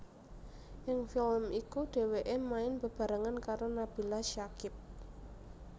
Ing film iku dheweke main bebarengan karo Nabila Syakib